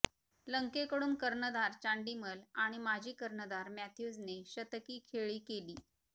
लंकेकडून कर्णधार चांडिमल आणि माजी कर्णधार मॅथ्यूजने शतकी खेळी केली